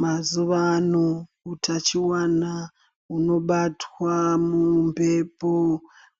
Mazuwaano hutachiwana hunobatwa mumphepo,